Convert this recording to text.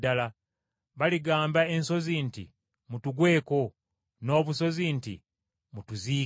“ ‘Baligamba ensozi nti, “Mutugweko,” n’obusozi nti, “Mutuziike.” ’